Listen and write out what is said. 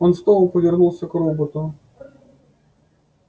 он снова повернулся к роботу